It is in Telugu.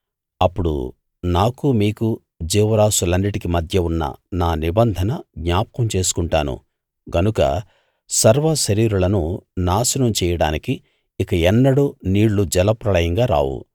అప్పుడు నాకు మీకు జీవరాసులన్నిటికీ మధ్య ఉన్న నా నిబంధన జ్ఞాపకం చేసుకొంటాను గనుక సర్వశరీరులను నాశనం చెయ్యడానికి ఇక ఎన్నడూ నీళ్ళు జలప్రళయంగా రావు